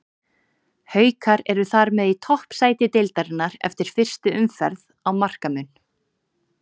Haukar eru þar með í toppsæti deildarinnar eftir fyrstu umferð á markamun.